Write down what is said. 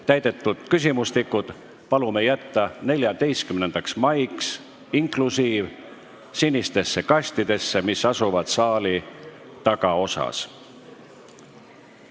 Täidetud küsimustikud palume jätta 14. maiks sinistesse kastidesse, mis asuvad saali tagaosas.